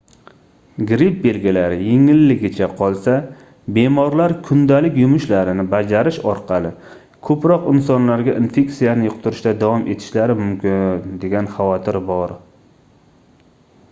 gripp belgilari yengilligicha qolsa bemorlar kundalik yumushlarini bajarish orqali koʻproq insonlarga infeksiyani yuqtirishda davom etishlari mumkin degan xavotir bor